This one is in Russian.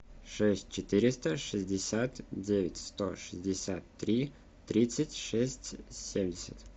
шесть четыреста шестьдесят девять сто шестьдесят три тридцать шесть семьдесят